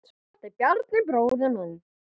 Þetta er Bjarni, bróðir minn.